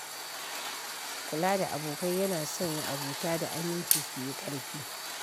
Kula da abokai yana sanya abota da aminci su yi ƙarfi